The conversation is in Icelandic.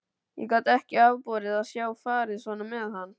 Ég gat ekki afborið að sjá farið svona með hann.